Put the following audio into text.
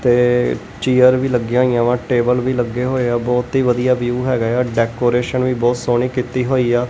ਤੇ ਚੇਅਰ ਵੀ ਲੱਗੀਆਂ ਹੋਈਆਂ ਵਾ ਟੇਬਲ ਵੀ ਲੱਗੇ ਹੋਏ ਆ ਬਹੁਤ ਹੀ ਵਧੀਆ ਵਿਊ ਹੈਗਾ ਏ ਆ ਡੈਕੋਰੇਸ਼ਨ ਵੀ ਬਹੁਤ ਸੋਹਣੀ ਕੀਤੀ ਹੋਈ ਆ।